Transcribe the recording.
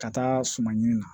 Ka taa suma ɲini na